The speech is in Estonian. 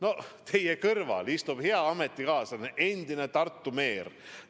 No teie kõrval istuv hea ametikaaslane on endine Tartu meer.